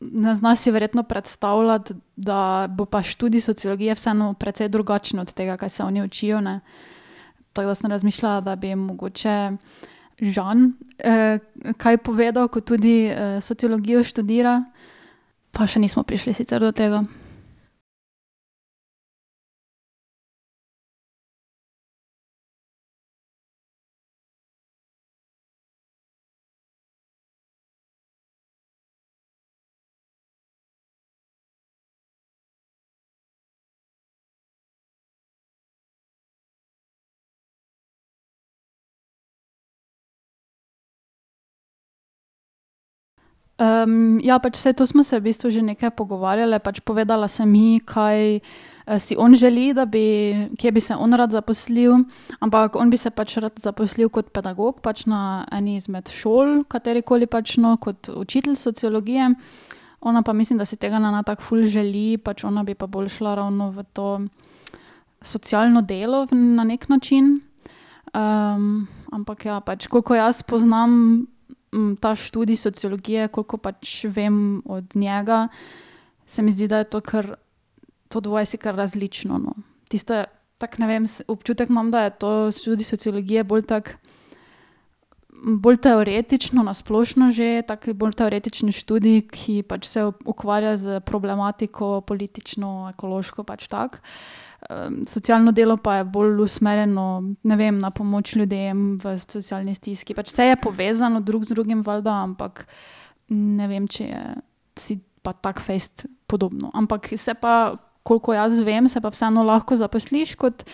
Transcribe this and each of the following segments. ne zna si verjetno predstavljati, da bo pa študij sociologije vseeno precej drugačen od tega, kaj se oni učijo, ne. Tako da sem razmišljala, da bi mogoče Žan, kaj povedal, ko tudi, sociologijo študira. Pa še nismo prišli sicer do tega. ja pač saj to smo se v bistvu že nekaj pogovarjale, pač povedala sem ji, kaj, si on želi, da bi, kje bi se on rad zaposlil, ampak on bi se pač rad zaposlil kot pedagog pač na eni izmed šol, katerikoli pač, no, kot učitelj sociologije, ona pa mislim, da si tega ne tako ful želi, pač ona bi pa bolj šla ravno v to socialno delo na neki način. ampak ja pač, koliko jaz poznam, ta študij sociologije, koliko pač vem od njega, se mi zdi, da je to kar, to dvoje si kar različno, no. Tisto je, tako, ne vem, občutek imam, da je to študij sociologije bolj tako, bolj teoretično, na splošno že, tak bolj teoretični študij, ki pač se ukvarja s problematiko politično, ekološko pač tako. socialno delo pa je bolj usmerjeno, ne vem, na pomoč ljudem v socialni stiski, pač saj je povezano drug z drugim valjda, ampak ne vem, če je si pa tako fejst podobno, ampak se pa, kolikor jaz vem, se pa vseeno lahko zaposliš kot,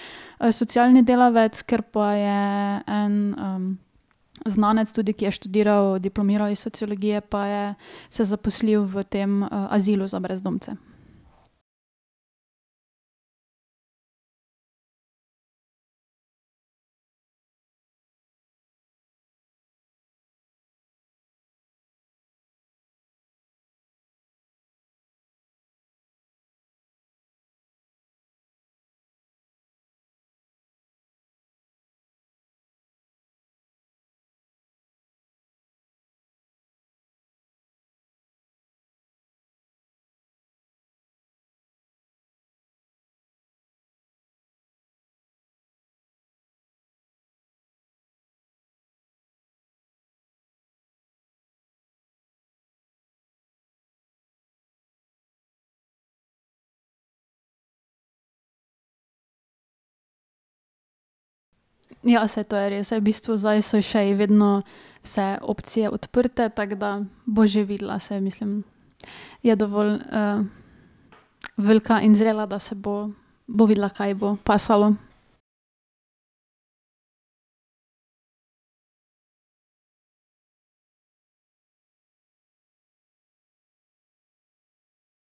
socialni delavec, ker pa je en, znanec tudi, ki je študiral, diplomiral iz sociologije pa je se zaposlil v tem azilu za brezdomce. Ja, saj to je res, saj v bistvu zdaj so še ji vedno vse opcije odprte, tako da bo že videla, saj mislim, je dovolj, velika in zrela, da se bo, bo videla, kaj ji bo pasalo.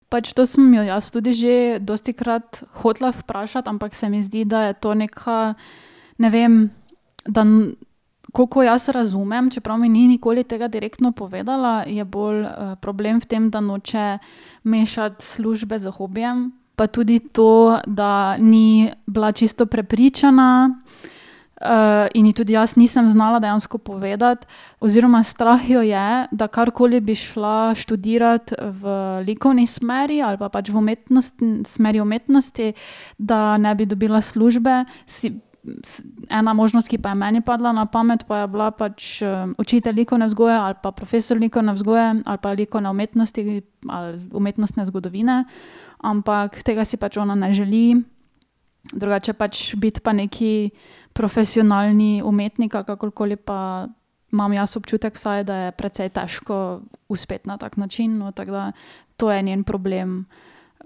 Pač to sem jo jaz tudi že dostikrat hotela vprašati, ampak se mi zdi, da je to neka, ne vem, da, koliko jaz razumem, čeprav mi ni nikoli tega direktno povedala, je bolj, problem v tem, da noče mešati službe s hobijem, pa tudi to, da ni bila čisto prepričana, in ji tudi jaz nisem znala dejansko povedati, oziroma strah jo je, da karkoli bi šla študirat, v likovni smeri ali pa pač v umetnostni smeri umetnosti, da ne bi dobila službe si ... Ena možnost, ki pa je meni padla na pamet, pa je bila pač učitelj likovne vzgoje ali pa profesor likovne vzgoje ali pa likovne umetnosti ali umetnostne zgodovine, ampak tega si pač ona ne želi. Drugače pač biti pa neki profesionalni umetnik ali kakorkoli pa imam jaz občutek vsaj, da je precej težko uspeti na tak način, no, tako da to je njen problem.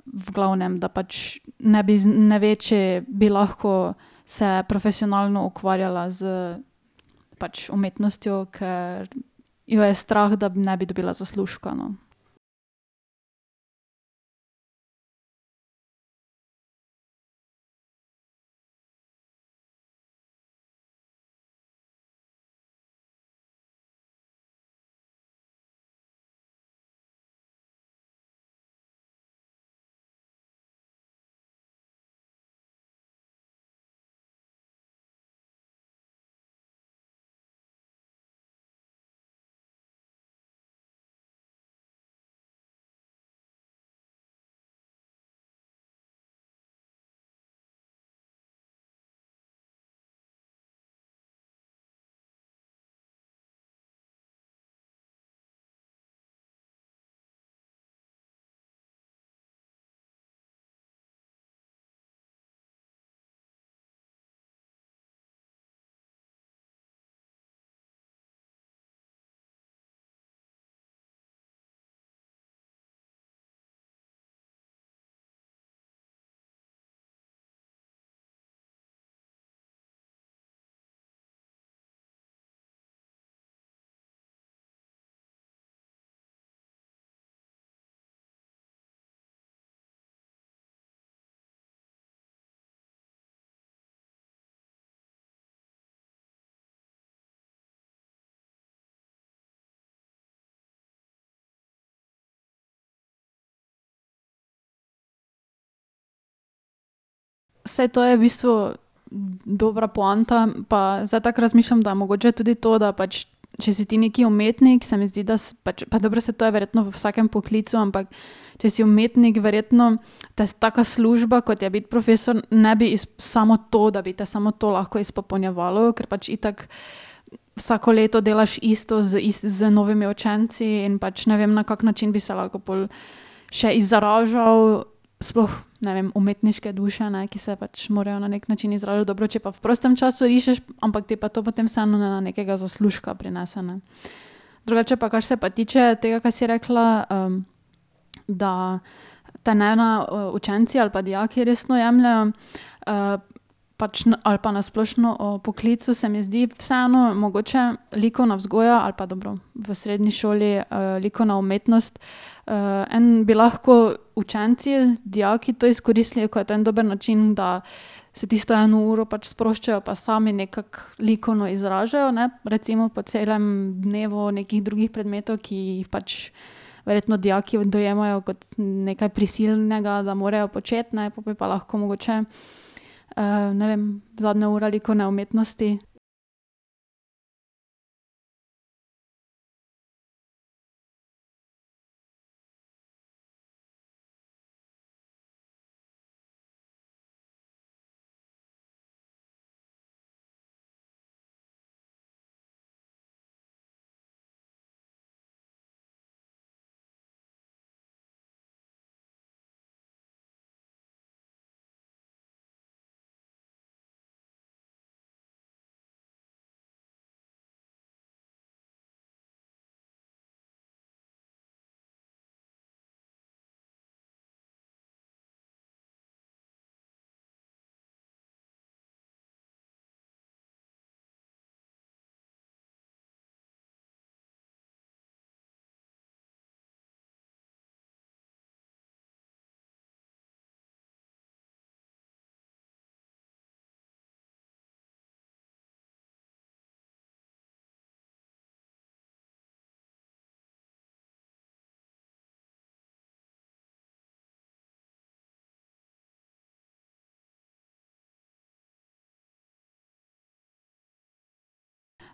V glavnem, da pač ne bi ne ve, če bi lahko se profesionalno ukvarjala s pač umetnostjo, ker jo je strah, da ne bi dobila zaslužka, no. Saj to je v bistvu dobra poanta pa zdaj tako razmišljam, da mogoče je tudi to, da pač, če si ti neki umetnik, se mi zdi, da pač, pa dobro saj to je verjetno v vsakem poklicu, ampak če si umetnik, verjetno te taka služba, kot je biti profesor, ne bi samo to, da bi te samo to lahko izpopolnjevalo, kar pač itak vsako leto delaš isto z z novimi učenci in pač ne vem, na kak način bi se lahko pol še izražal sploh, ne vem, umetniške duše, ne, ki se pač morajo na neki način izražati, dobro, če pa v prostem času rišeš, ampak ti pa to potem vseeno ne nekega zaslužka prinese, ne. Drugače pa, kar se pa tiče tega, kaj si rekla, da te ne, učenci ali pa dijaki resno jemljejo, pač ali pa na splošno, v poklicu, se mi zdi vseeno mogoče likovna vzgoja ali pa dobro, v srednji šoli, likovna umetnost, en bi lahko učenci, dijaki to izkoristili kot en dober način, da se tisto eno uro pač sproščajo pa sami nekako likovno izražajo, ne, recimo, po celem dnevu nekih drugih predmetov, ki jih pač verjetno dijaki dojemajo kot nekaj prisilnega, da morajo početi, ne, pol bi pa lahko mogoče, ne vem, zadnja ura likovne umetnosti ...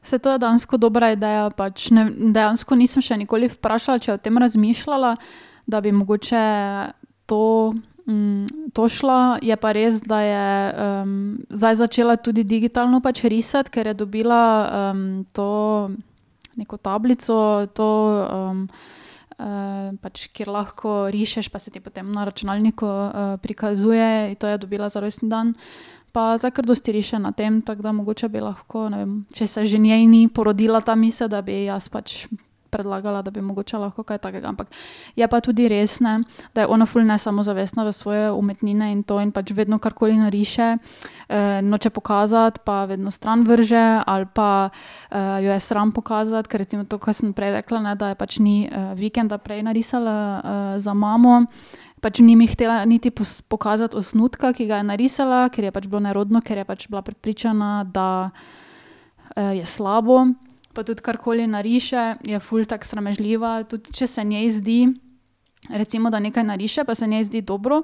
Saj to je dejansko dobra ideja pač, dejansko nisem še nikoli vprašala, če je o tem razmišljala, da bi mogoče to, to šla, je pa res, da je, zdaj začela tudi digitalno pač risati, ker je dobila, to neko tablico to, pač kjer lahko rišeš pa se ti potem na računalniku, prikazuje, to je dobila za rojstni dan pa zdaj kar dosti riše na tem, tako da mogoče bi lahko, ne vem, če se že njej ni porodila ta misel, da bi ji jaz pač predlagala, da bi mogoče lahko kaj takega, ampak je pa tudi res, ne, da je ona ful nesamozavestna v svoje umetnine in to in pač vedno, karkoli nariše, noče pokazati pa vedno stran vrže ali pa, jo je sram pokazati, ker recimo to, kar sem prej rekla, ne, da je pač ni, vikenda prej narisala, za mamo, pač ni mi hotela niti pokazati osnutka, ki ga je narisala, ker ji je pač bilo nerodno, ker je bila prepričana, da, je slabo. Pa tudi karkoli nariše, je ful tako sramežljiva, tudi če se njej zdi, recimo, da nekaj nariše, pa se njej zdi dobro,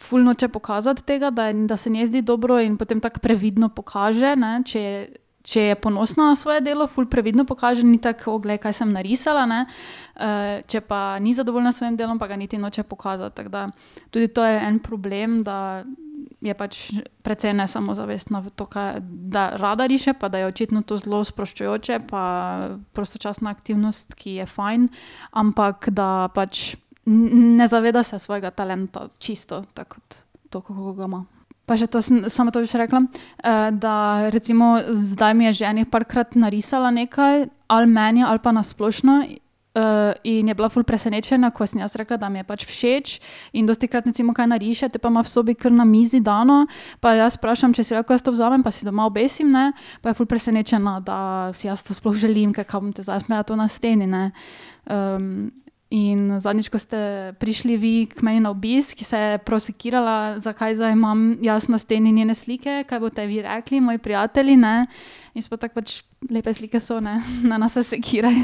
ful noče pokazati tega, da je, da se njej zdi dobro, in potem tako previdno pokaže, ne, če je, če je ponosna na svoje delo, ful previdno pokaže, ni tako: "O, glej, kaj sem narisala, ne," če pa ni zadovoljna s svojim delom, pa ga pa niti noče pokazati, tako da tudi to je en problem, da je pač precej nesamozavestna v to, kaj, da rada riše pa da je očitno to zelo sproščujoče, pa prostočasna aktivnost, ki je fajn, ampak da pač ne, ne, ne zaveda se svojega talenta, čisto, tako kot toliko, kako ga ima. Pa še to sem, samo to bi še rekla, da recimo zdaj mi je že ene parkrat narisala nekaj, ali meni ali pa na splošno, in je bila ful presenečena, ko sem jaz rekla, da mi je pač všeč in dostikrat recimo kaj nariše, te pa ima v sobi kar na mizi dano pa jo jaz vprašam, če si lahko jaz to vzamem pa si doma obesim, ne, pa je ful presenečena, da si jaz to sploh želim, ker kaj bom potem zdaj jaz imela to na steni, ne. in zadnjič, ko ste prišli vi k meni na obisk, se je prav sekirala, zakaj zdaj imam jaz na steni njene slike, kaj boste vi rekli, moji prijatelji, ne. In smo tako pač lepe slike so, ne, ne se sekiraj.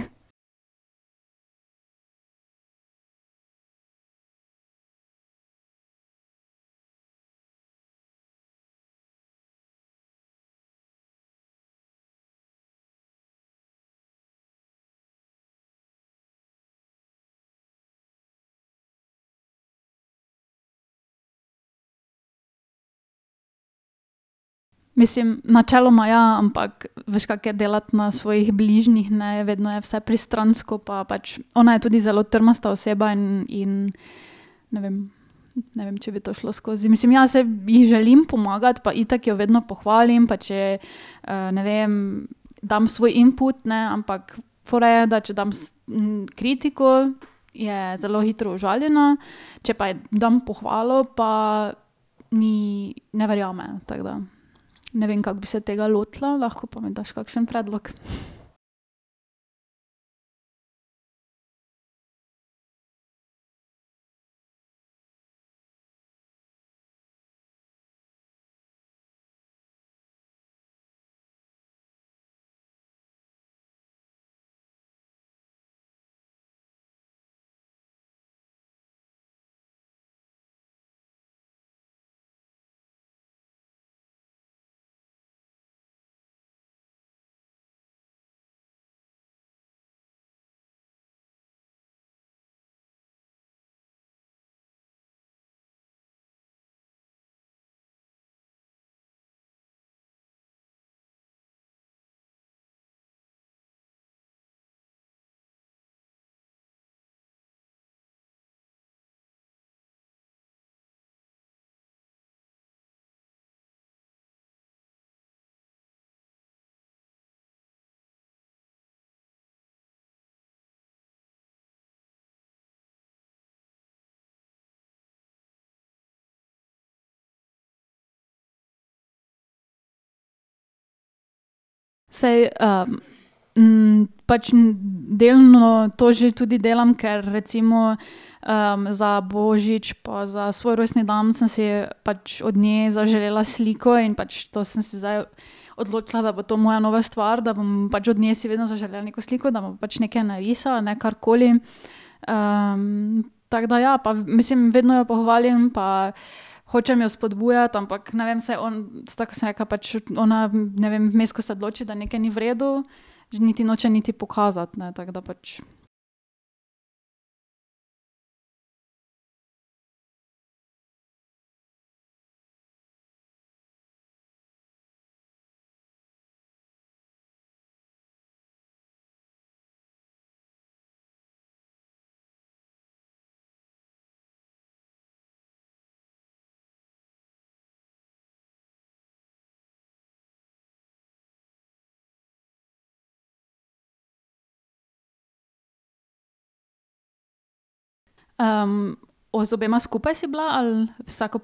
Mislim, načeloma ja, ampak veš, kako je delati na svojih bližnjih, ne, je vedno je vse pristransko pa pač ona je tudi zelo trmasta oseba in in, ne vem, ne vem, če bi to šlo skozi, mislim, ja, saj ji želim pomagati pa itak jo vedno pohvalim, pa če je, ne vem, dam svoj input, ne, ampak fora je, da če dam kritiko, je zelo hitro užaljena, če pa je dam pohvalo pa, ni ne verjame, tako da ne vem, kako bi se tega lotila, lahko pa mi daš kakšen predlog. Saj, pač delno to že tudi delam, ker recimo, za božič pa za svoj rojstni dan sem si pač od nje zaželela sliko in pač to sem si zdaj odločila, da bo to moja nova stvar, da bom pač od nje si vedno zaželela neko sliko, da bo pač nekaj narisala, ne, karkoli. tako da, ja, pa mislim, vedno jo pohvalim pa hočem jo spodbujati, ampak ne vem se tako kot sem rekla pač, ona, ne vem, vmes, ko se odloči, da nekaj ni v redu, že niti noče niti pokazati, ne, tako da pač ... o z obema skupaj si bila ali vsako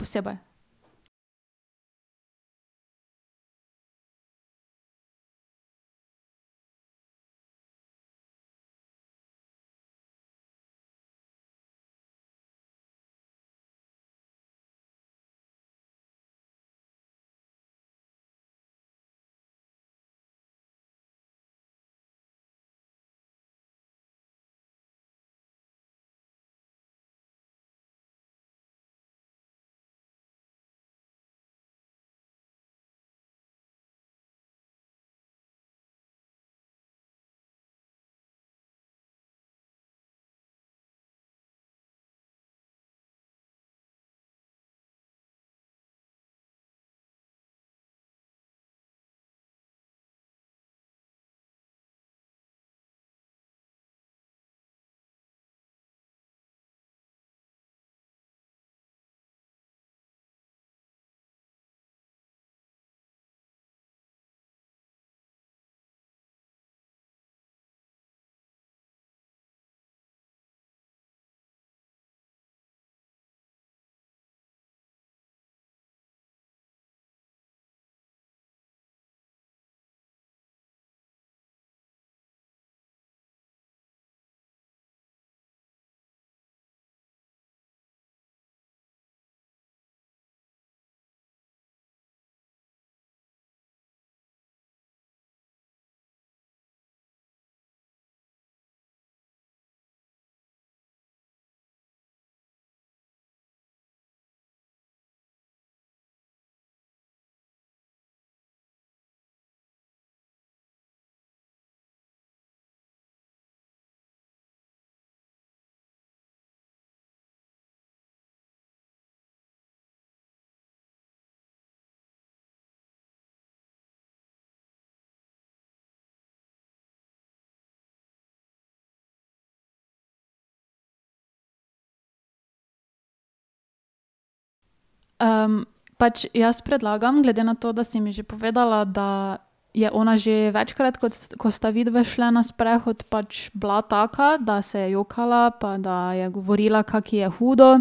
posebej? pač jaz predlagam, glede na to, da si mi že povedala, da je ona že večkrat, kot ko sta vidve šli na sprehod, pač bila taka, da se je jokala pa da je govorila, kako ji je hudo.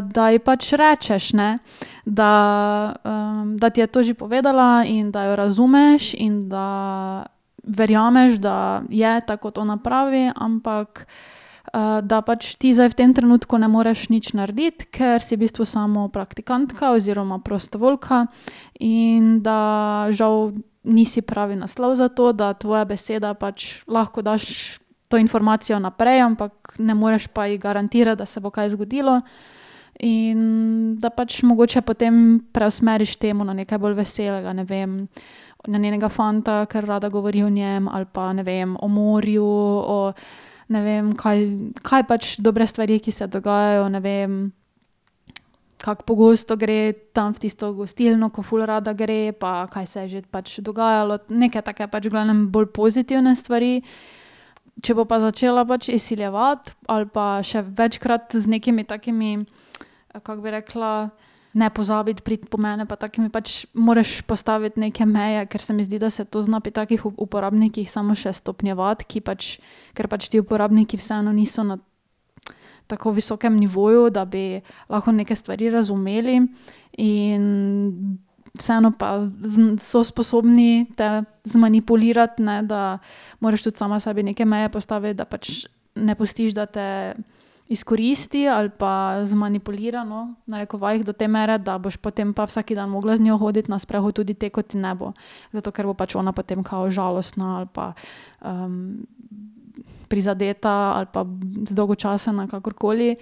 da je pač rečeš, ne, da, da ti je to že povedala in da jo razumeš in da verjameš, da je tako, kot ona pravi, ampak, da pač ti zdaj v tem trenutku ne moreš nič narediti, ker si v bistvu samo praktikantka oziroma prostovoljka, in da žal nisi pravi naslov za to. Da tvoja beseda pač, lahko daš to informacijo naprej, ampak ne moreš pa ji garantirati, da se bo kaj zgodilo, in da pač mogoče potem preusmeriš temo na nekaj bolj veselega, ne vem, na njenega fanta, ker rada govori o njem, ali pa, ne vem, o morju, o, ne vem, kaj kaj pač dobre stvari, ki se dogajajo, ne vem. Kako pogosto gre tam v tisto gostilno, ko ful rada gre, pa kaj saj že pač dogajalo, nekaj takega, pač v glavnem bolj pozitivne stvari, če bo pa začela pač izsiljevati ali pa še večkrat z nekimi takimi, kako bi rekla, ne pozabiti priti po mene pa takimi pač moreš postaviti neke meje, ker se mi zdi, da se to zna pri takih uporabnikih samo še stopnjevati, ki pač, ker pač ti uporabniki vseeno niso na ... tako visokem nivoju, da bi lahko neke stvari razumeli, in vseeno pa so sposobni te zmanipulirati, ne, da moraš tudi sama sebi neke meje postaviti, da pač ne pustiš, da te izkoristi ali pa zmanipulira, no, v narekovajih do te mere, da boš potem pa vsak dan mogla z njo hoditi na sprehod tudi te, ko ti ne bo. Zato, ker bo pač ona kao žalostna ali pa, prizadeta ali pa zdolgočasena, kakorkoli,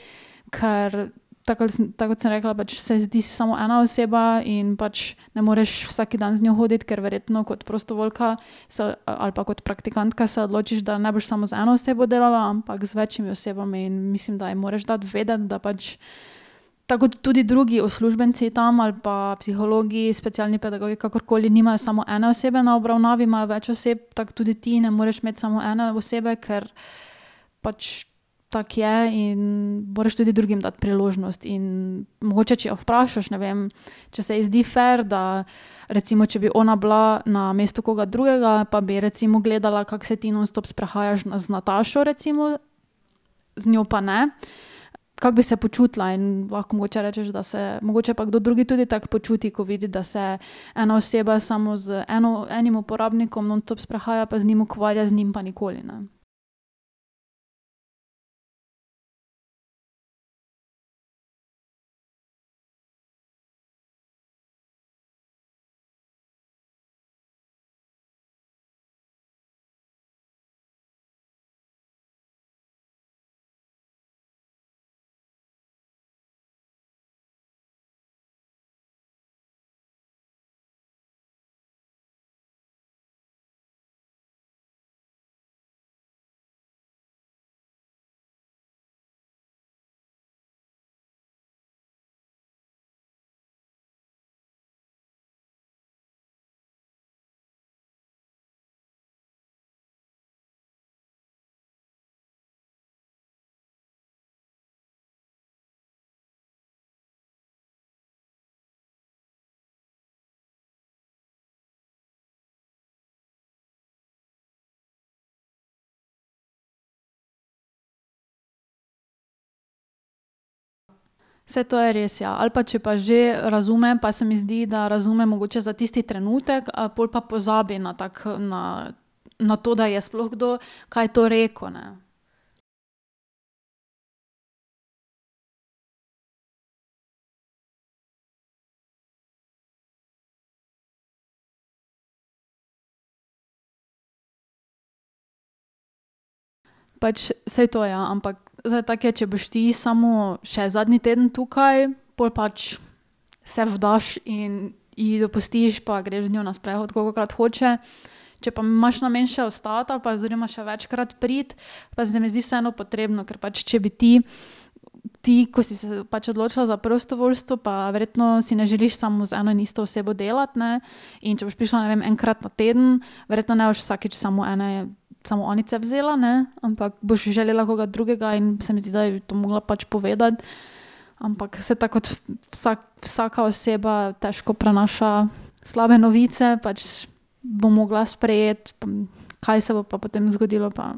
ker tako ali tako kot sem rekla pač, saj ti si samo ena oseba in pač ne moreš vsak dan z njo hoditi, ker verjetno kot prostovoljka se ali pa kot praktikantka se odločiš, da ne boš samo z eno osebo delala, ampak z večimi osebami, mislim, da ji moraš dati vedeti, da pač tako kot tudi drugi uslužbenci tam ali pa psihologi, specialni pedagogi, kakorkoli, nimajo samo ene osebe na obravnavi, imajo več oseb, tako tudi ti ne moreš imeti samo ene osebe, ker pač tako je, in moreš tudi drugim dati priložnost in mogoče, če jo vprašaš, ne vem, če se ji zdi fer, da recimo, če bi ona bila na mestu koga drugega pa bi recimo gledala, kako se ti nonstop sprehajaš z Natašo recimo, z njo pa ne, kako bi se počutila in lahko mogoče rečeš, da se mogoče pa kdo drug tudi tako počuti, ko vidi, da se ena oseba samo z eno, enim uporabnikom nonstop sprehaja pa z njim ukvarja, z njim pa nikoli, ne. Saj to je res, ja, ali pa če pa že razume, pa se mi zdi, da razume mogoče za tisti trenutek ali pol pa pozabi na tako na na to, da je sploh kdo kaj to rekel, ne. Pač saj to, ja, ampak zdaj tako je, če boš ti samo še zadnji teden tukaj, pol pač se vdaš in ji dopustiš pa greš z njo na sprehod, kolikokrat hoče, če pa imaš namen še ostati ali pa oziroma še večkrat priti, pa se mi zdi vseeno potrebno, ker pač, če bi ti ti, ko si se pač odločila za prostovoljstvo, pa verjetno si ne želiš samo z eno in isto osebo delati, ne. In če boš prišla, ne vem, enkrat na teden, verjetno ne boš vsakič samo ene, samo Anice vzela, ne, ampak boš želela koga drugega, in se mi zdi, da to mogla pač povedati, ampak saj tako kot vsak, vsaka oseba težko prenaša slabe novice, pač bo mogla sprejeti, kaj se bo pa potem zgodilo pa ...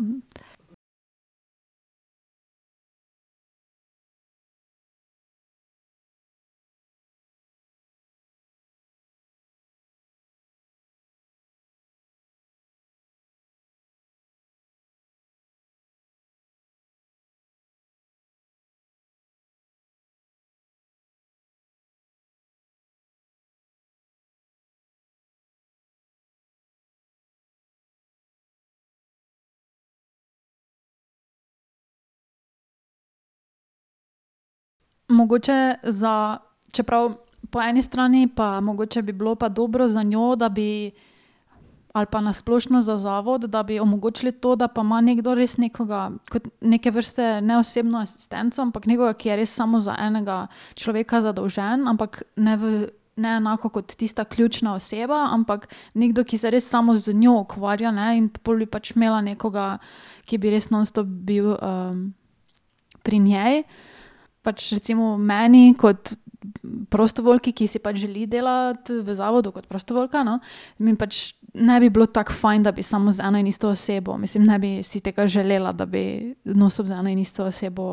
Mogoče za, čeprav po eni strani pa mogoče bi bilo pa dobro za njo, da bi ali pa na splošno za zavod, da bi omogočili to, da pa ima nekdo res nekoga kot neke vrste ne osebno asistenco, ampak nekoga, ki je res samo za enega človeka zadolžen, ampak ne ne enako kot tista ključna oseba, ampak nekdo, ki se res samo z njo ukvarja, ne, in pol bi imela pač nekoga, ki bi res nonstop bil, pri njej. Pač recimo meni kot prostovoljki, ki si pač želi delati v zavodu kot prostovoljka, no, mi pač ne bi bilo tako fajn, da bi samo z eno in isto osebo, mislim, ne bi si tega želela, da bi nonstop z eno in isto osebo ...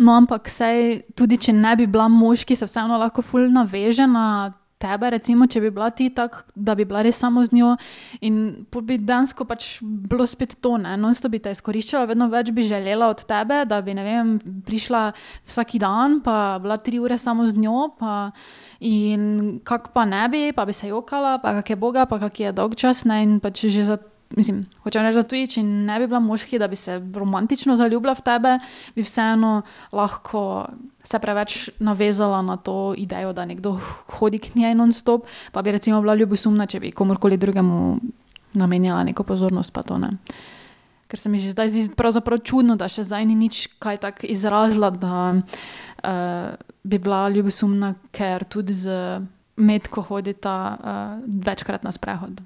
No, ampak saj tudi, če ne bi bila moški, se vseeno lahko ful naveže na tebe recimo, če bi bila ti tako, da bi bila res samo z njo in pol bi dejansko pač bilo spet to, ne, nonstop bi te izkoriščala, vedno več bi želela od tebe, da bi, ne vem, prišla vsak dan pa bila tri ure samo z njo, pa ... In kako pa ne bi, pa bi se jokala, pa kako je uboga, pa kako ji je dolgčas, ne, in pač že za ... Mislim, hočem reči, da tudi če ne bi bila moški, da bi se romantično zaljubila v tebe, bi vseeno lahko se preveč navezala na to idejo, da nekdo hodi k njej nonstop. Pa bi recimo bila ljubosumna, če bi komurkoli drugemu namenjala neko pozornost pa to, ne. Ker se mi že zdaj zdi pravzaprav čudno, da še zdaj ni nič kaj tako izrazila, da, bi bila ljubosumna, ker tudi z Metko hodita, večkrat na sprehod.